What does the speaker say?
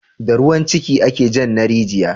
Da ruwan ciki ake jan na rijiya